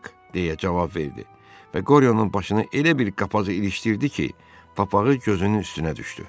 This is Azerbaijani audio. deyə cavab verdi və Qoryonun başını elə bir qapağa ilişdirdi ki, papağı gözünün üstünə düşdü.